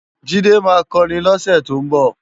Jide má kòrin lòse tó nbò